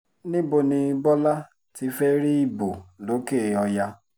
níbo ni bọ́lá ti fẹ́ẹ́ rí ìbò lòkè-ọ̀yà